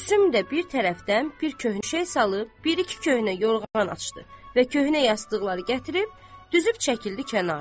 Gülsüm də bir tərəfdən bir köhnə şey salıb, bir iki köhnə yorğan açdı və köhnə yastıqları gətirib düzüb çəkildi kənara.